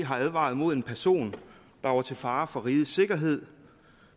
har advaret mod en person der var til fare for rigets sikkerhed